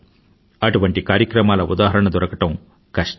అటువంటి కార్యక్రమాల ఉదాహరణ దొరకడం కష్టం